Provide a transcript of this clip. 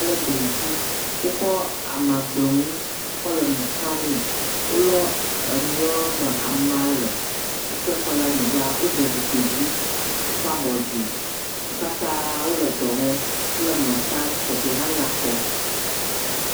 … le gli ŋuti, wokɔ ama gbemu kɔ le enu tamee, wolɔ enuyɔ me ama le, wokɔ kɔ le anyigba, wode zikpui dzi, wokɔ abɔ dzi. Wo katã wole dɔ wɔm, wole nuɔ ta, teƒee hã nyakpɔ.